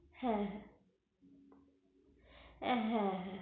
হ্যা হ্যা হ্যা হ্যা